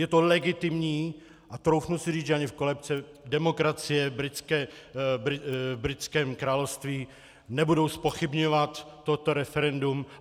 Je to legitimní a troufnu si říct, že ani v kolébce demokracie v britském království nebudou zpochybňovat toto referendum.